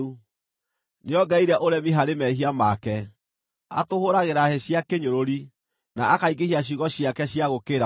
Nĩongereire ũremi harĩ mehia make; atũhũũragĩra hĩ cia kĩnyũrũri, na akaingĩhia ciugo ciake cia gũũkĩrĩra Mũrungu.”